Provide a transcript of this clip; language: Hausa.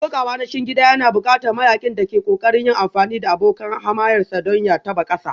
Kokawa na cikin gida yana buƙatar mayaƙin da ke ƙoƙarin yin amfani da abokan hamayyarsa don ya taɓa ƙasa